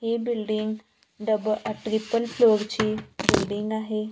ही building double triple floor ची building आहे.